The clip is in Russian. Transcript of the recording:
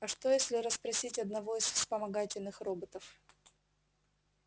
а что если расспросить одного из вспомогательных роботов